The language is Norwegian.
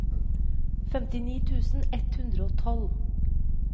femtini tusen ett hundre og tolv